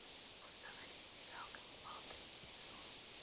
установи сериал ганнибал третий сезон